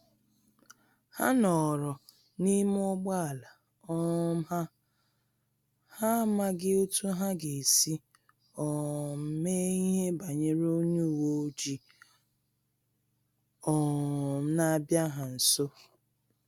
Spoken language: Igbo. Ha nọrọ n’ime ụgbọala um ha, ha amaghị otú ha ga-esi um mee ihe banyere onye uweojii um na-abia ha nso